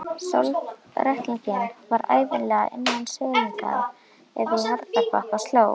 Sjálfsréttlætingin var ævinlega innan seilingar ef í harðbakka sló.